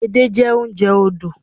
Edé jẹ́ oúnjẹ odò